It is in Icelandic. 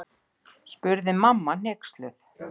spurði mamma hneyksluð.